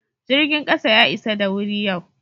Jirgin kasa ya isa da wuri yau.